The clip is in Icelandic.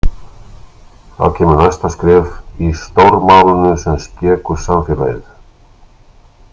Þá kemur næsta skref í „stórmálinu sem skekur samfélagið“.